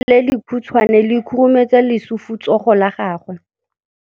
Letsogo le lekhutshwane le khurumetsa lesufutsogo la gago.